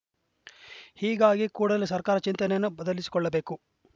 ಹೀಗಾಗಿ ಕೂಡಲೇ ಸರ್ಕಾರ ಚಿಂತನೆಯನ್ನು ಬದಲಿಸಿಕೊಳ್ಳಬೇಕು